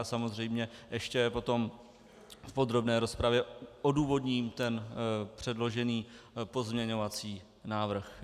A samozřejmě ještě potom v podrobné rozpravě odůvodním ten předložený pozměňovací návrh.